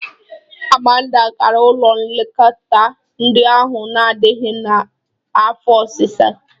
Amanda gara ụlọ nlekọta ndị ahụ na-adịghị n'ihi afọ ọsịsa.